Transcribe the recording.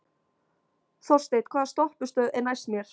Þorsteinn, hvaða stoppistöð er næst mér?